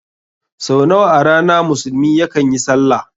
Sau nawa a rana musulmi yakan yi sallah?